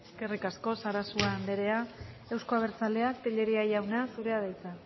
eskerrik asko sarasua andrea euzko abertzaleak tellería jauna zurea da hitza